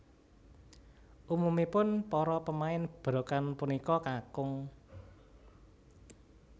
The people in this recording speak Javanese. Umumipun para pemain berokan punika kakung